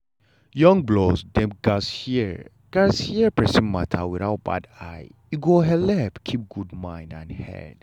young blood dem gatz hear gatz hear persin matter without bad eye e go helep keep good mind and head.